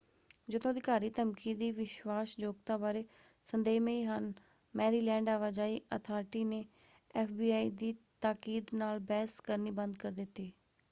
ਜਦੋਂ ਅਧਿਕਾਰੀ ਧਮਕੀ ਦੀ ਵਿਸ਼ਵਾਸਯੋਗਤਾ ਬਾਰੇ ਸੰਦੇਹਮਈ ਹਨ ਮੈਰੀਲੈਂਡ ਆਵਾਜਾਈ ਅਥਾਰਟੀ ਨੇ ਐਫਬੀਆਈ ਦੀ ਤਾਕੀਦ ਨਾਲ ਬਹਿਸ ਕਰਨੀ ਬੰਦ ਕਰ ਦਿੱਤੀ।